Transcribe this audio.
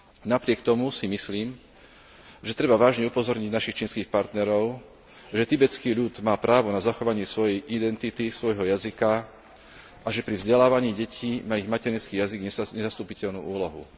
Napriek tomu si myslím, že treba vážne upozorniť našich čínskych partnerov, že tibetský ľud má právo na zachovanie svojej identity, svojho jazyka a že pri vzdelávaní detí má ich materinský jazyk nezastupiteľnú úlohu.